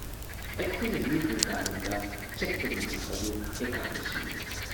ꯑꯩꯈꯣꯏꯅ ꯅ꯭ꯌꯨ ꯕ꯭ꯔꯤꯟꯗꯥꯕꯟꯗ ꯆꯠꯄ ꯅꯨꯃꯤꯠ ꯑꯗꯨ ꯑꯦꯀꯥꯗꯁꯤꯅꯤ ꯫